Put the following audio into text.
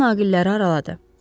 Doktor naqilləri araladı.